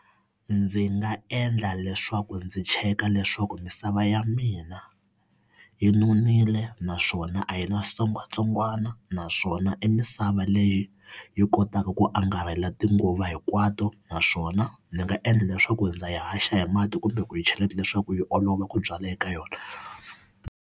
Ndzi nga endla leswaku ndzi cheka leswaku misava ya mina yi nonile naswona a yi na switsongwatsongwana, naswona i misava va leyi yi kotaka ku angarhela tinguva hinkwato naswona ndzi nga endla leswaku ndza yi haxa hi mati kumbe ku yi cheleta leswaku yi olova ku byala eka yona.